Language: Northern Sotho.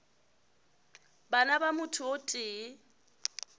bana ba motho o tee